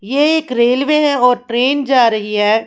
ये एक रेलवे है और ट्रेन जा रही है।